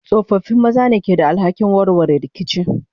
tsofaffi maza ne ke da alhakin warware rikici.